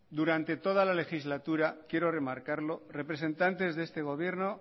durante toda la legislatura quiero remarcarlo representantes de este gobierno